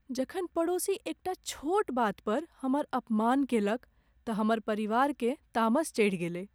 जखन पड़ोसी एकटा छोट बात पर हमर अपमान केलक तऽ हमर परिवारकेँ तामस चढ़ि गेलै ।